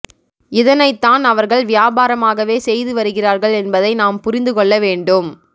இதனைத்தான் அவர்கள் வியாபாரமாகவே செய்து வருகிறார்கள் என்பதை நாம் புரிந்து கொள்ள வேண்டும்